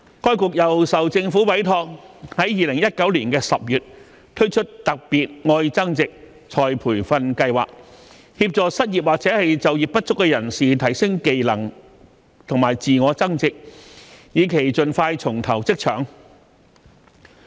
該局又受政府委託於2019年10月推出"特別.愛增值"再培訓計劃，協助失業或就業不足人士提升技能及自我增值，以期盡快重投職場。